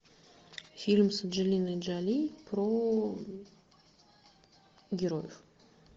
фильм с анджелиной джоли про героев